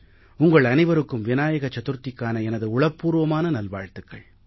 உங்கள் அனைவருக்கும் விநாயக சதுர்த்திக்கான எனது உளப்பூர்வமான நல்வாழ்த்துக்கள்